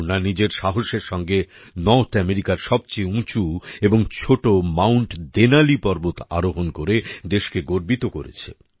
পূর্ণা নিজের সাহসের সঙ্গে নর্থ আমেরিকার সবচেয়ে উঁচু এবং ছোট মাউন্ট দেনালি পর্বত আরোহণ করে দেশকে গর্বিত করেছে